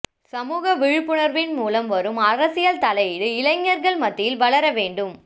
சமூக விழிப்புணர்வின் மூலம் வரும் அரசியல் தலையீடு இளைஞர்கள் மத்தியில் வளர வேண்டும்